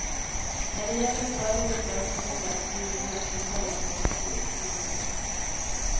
När det gäller större utländska besök blir nog nästa sommar dock betydligt magrare.